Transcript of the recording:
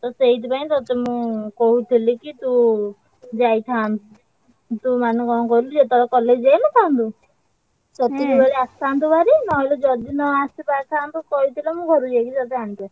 ତ ସେଇଥିପାଇଁ ତତେ ମୁଁ କହୁଥିଲି କି ତୁ ଯାଇଥାନ୍ତୁ। ଯୋଉ ମାନେ କଣ କହିଲୁ ଯେତବେଳେ college ଯାଇନଥାନ୍ତୁ ସେତିକି ବେଳେ ଆସିଥାନ୍ତୁ ଭାରି ନହେଲେ ଯଦି ନ ଆସିପାରି~ ଥାନ୍ତୁ~ କହିଥିଲେ ମୁଁ ଘରୁକୁ ଯାଇକି ତତେ ଆଣିକି ଆସି।